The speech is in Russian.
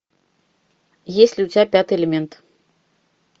есть ли у тебя пятый элемент